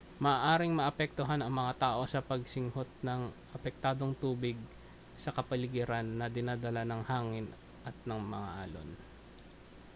maaaring maapektuhan ang mga tao ng pagsinghot ng apektadong tubig sa kapaligiran na dinadala ng hangin at mga alon